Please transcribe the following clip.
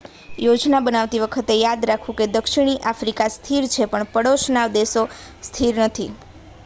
યોજના બનાવતી વખતે યાદ રાખવું કે દક્ષિણી આફ્રિકા સ્થિર છે પણ પડોશના બધા દેશો સ્થિર નથી